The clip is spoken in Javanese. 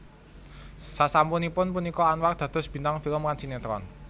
Sasampunipun punika Anwar dados bintang film lan sinetron